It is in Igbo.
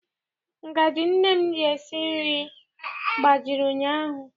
Ngajị nne m ji esi nri gbajiri ụnyaahụ.